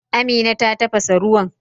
Amina ta tafasa ruwan.